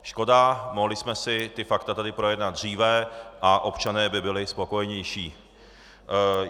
Škoda, mohli jsme si ta fakta tady projednat dříve a občané by byli spokojenější.